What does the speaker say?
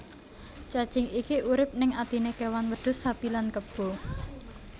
Cacing iki urip ning atiné kewan wedhus sapi lan kebo